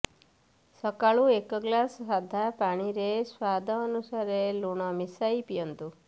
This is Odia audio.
ସକାଳୁ ଏକ ଗିଲାସ ସାଧା ପାଣିରେ ସ୍ବାଦ ଅନୁସାରେ ଲୁଣ ମିଶାଇକି ପିଅନ୍ତୁ